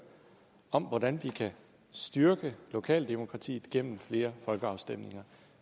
om hvordan vi kan styrke lokaldemokratiet gennem flere folkeafstemninger